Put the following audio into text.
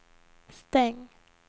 stäng